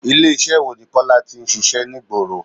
Ilé iṣẹ́ wo ni Kọ́lá tí ń ṣíṣe ní ìgboro?